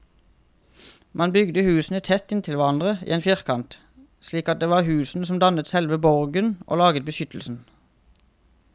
Man bygde husene tett inntil hverandre i en firkant, slik at det var husene som dannet selve borgen og laget beskyttelsen.